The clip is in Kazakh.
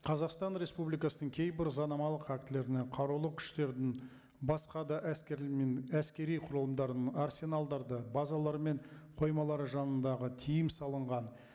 қазақстан республикасының кейбір заңнамалық актілеріне қарулы күштердің басқа да әскерлер мен әскери құрылымдарының арсеналдарды базалар мен қоймалары жанындағы тыйым салынған